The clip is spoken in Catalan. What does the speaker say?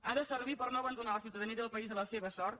ha de servir per no abandonar la ciutadania del país a la seva sort